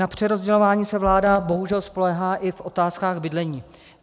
Na přerozdělování se vláda bohužel spoléhá i v otázkách bydlení.